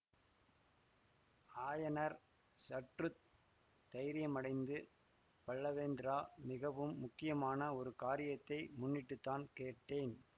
ஆயனர் சற்று தைரியமடைந்து பல்லவேந்திரா மிகவும் முக்கியமான ஒரு காரியத்தை முன்னிட்டு தான் கேட்டேன்